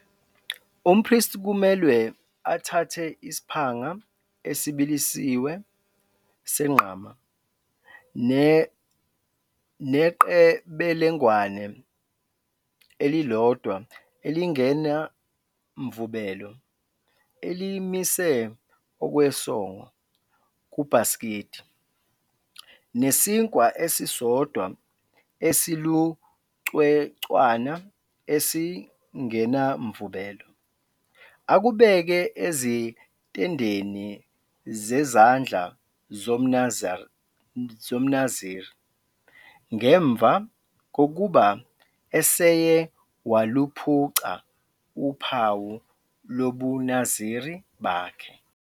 Umpristi kumelwe athathe isiphanga esibilisiwe senqama neqebelengwane elilodwa elingenamvubelo elimise okwesongo kubhasikidi, nesinkwa esisodwa esilucwecwana esingenamvubelo, akubeke ezintendeni zezandla zomNaziri ngemva kokuba eseye waluphuca uphawu lobuNaziri bakhe.